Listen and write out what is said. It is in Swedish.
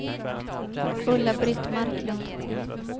Ulla-Britt Marklund